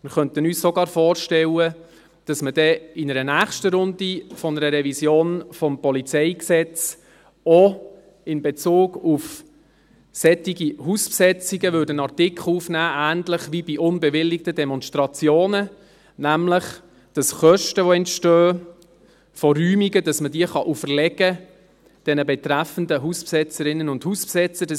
Wir könnten uns sogar vorstellen, dass man dann in einer nächsten Runde der Revision des Polizeigesetzes (PolG) auch in Bezug auf solche Hausbesetzungen einen Artikel aufnehmen würde, ähnlich wie bei unbewilligten Demonstrationen: dass man nämlich Kosten, die durch Räumungen entstehen, den betreffenden Hausbesetzern auferlegen kann.